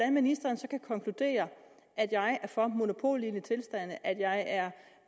at ministeren kan konkludere at jeg er for monopollignende tilstande og at jeg er